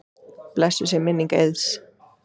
Blessuð sé minning Eiðs.